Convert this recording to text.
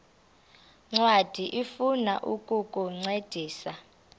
ncwadi ifuna ukukuncedisa